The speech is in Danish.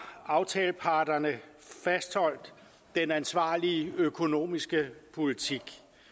aftaleparterne fastholdt den ansvarlige økonomiske politik